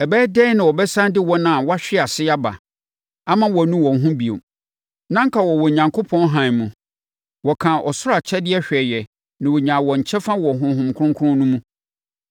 Ɛbɛyɛ dɛn na wɔbɛsane de wɔn a wɔahwe ase aba ama wɔanu wɔn ho bio? Na anka wɔwɔ Onyankopɔn hann mu. Wɔkaa ɔsoro akyɛdeɛ hwɛeɛ na wɔnyaa wɔn kyɛfa wɔ Honhom Kronkron no mu.